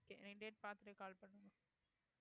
okay நீங்க date பாத்துட்டு call பண்ணுங்க